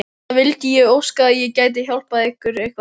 Það vildi ég óska að ég gæti eitthvað hjálpað ykkur!